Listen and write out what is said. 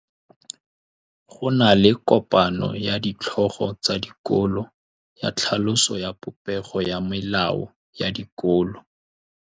Go na le kopanô ya ditlhogo tsa dikolo ya tlhaloso ya popêgô ya melao ya dikolo.